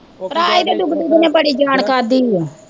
ਕਰਾਏ ਦੇ ਡੁਗ ਡੁਗ ਨੇ ਬੜੀ ਜਾਣ ਖਾਧੀ ਓ